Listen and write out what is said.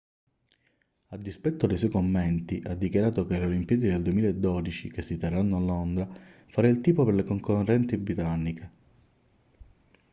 a dispetto dei suoi commenti ha dichiarato che alle olimpiadi del 2012 che si terranno a londra farà il tifo per le concorrenti britanniche